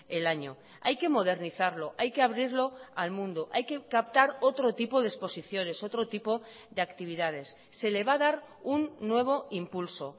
el año hay que modernizarlo hay que abrirlo al mundo hay que captar otro tipo de exposiciones otro tipo de actividades se le va a dar un nuevo impulso